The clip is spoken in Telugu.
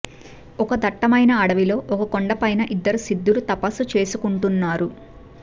ఒక దట్టమైన అడవిలో ఒక కొండపైన ఇద్దరు సిద్ధులు తపస్సు చేసుకుంటున్నారు